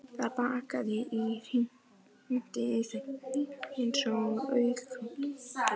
Það brakaði og hrikti í þeim eins og agúrkum.